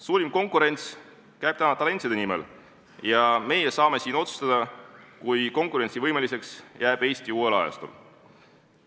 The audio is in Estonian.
Suurim konkureerimine käib täna talentide nimel ja meie saame siin otsustada, kui konkurentsivõimeliseks jääb Eesti uuel ajastul.